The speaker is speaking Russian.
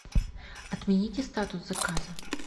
отмените статус заказа